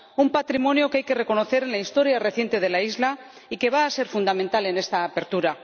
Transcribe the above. Un patrimonio que hay que reconocer en la historia reciente de la isla y que va a ser fundamental en esta apertura.